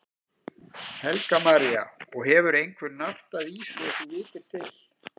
Helga María: Og hefur einhver nartað í svo þú vitir til?